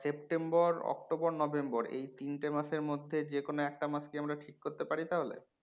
September October November এই তিনটে মাসের মধ্যে যে কোনো একটা মাস কি আমরা ঠিক করতে পারি তাহলে?